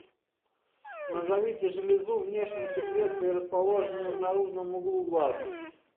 назовите железу внешней секреции расположенную в наружном углу глаза